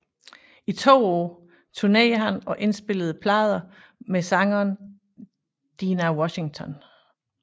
I to år turnerede han og indspillede plader med sangeren Dinah Washington